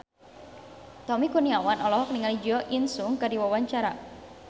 Tommy Kurniawan olohok ningali Jo In Sung keur diwawancara